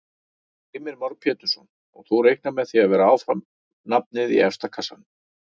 Heimir Már Pétursson: Og þú reiknar með að vera áfram nafnið í efsta kassanum?